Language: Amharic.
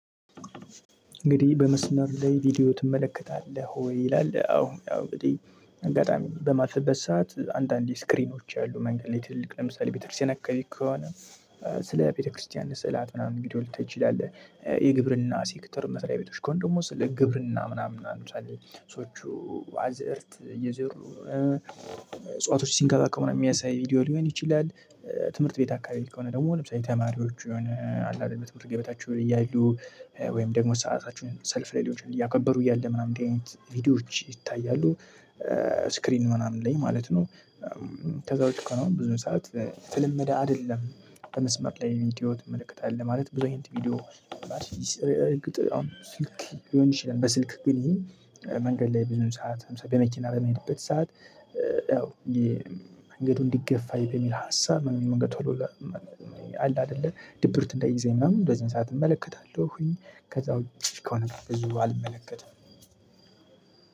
እንግዲህ በመስመር ላይ ቪዲዮ ትመለከታለህ ወይ? ይላል አዎ ያው እንግዲህ አጋጣሚ በማልፈበት ሰዓት አንዳንዴ ስክሪኖች አሉ መንገድ ላይ ትልልቅ ለምሳሌ ቤተክርስቲያን አካባቢ ከሆነ ስለ ቤተክርስቲያን ስዕላት ምናምን ቪዲዮ ልታይ ይላል የግብርና ሴክተር መስሪያ ቤቶች ከሆነ ደግሞ ስለ ግብርና ምናምን አሁን ለምሳሌ ሰዎቹ አዝእርት እየዘሩ እጽዋቶች ሲንከባከቡ ነው የሚያሳይ ቪዲዮ ሊሆን ይችላል። ትምህርት ቤት አካባቢ ከሆነ ደግሞ ለምሳሌ ተማሪዎች የሆነ አለ አይደል የትምህርት ገበታቸውን እያዩ ወይም ደግሞ ሰአታቸውን ሰልፍ ላይ ሊሆን ይችላል እያከበሩ እያለ ምናምን ቪዲዮዎች ይታያሉ። ስክሪን ምናምን ላይ ማለት ነው። ከዛ ውጭ ብዙ ሰዓት የተለመደ አይደለም። በመስመር ላይ ቪዲዮ ትመለከታለህ ማለት ብዙ አይነት ቪዲዮ። አሁን ስልክ ሊሆን ይችላል በስልክ ግን መንገድ ላይ ብዙ ሰዓት ለምሳሌ በመኪና በምሄድበት ሰዓት ያው መንገዱ እንዲገፋ በሚል ሀሳብ መንገድ በቶሎ አለ አይደለ ድብርት እንዳይይዘኝ ምናምን እንደዚህ አይነት ሰዓት እመለከታለሁኝ። ከዛ ውጪ ከሆነ ብዙ አልመለከትም።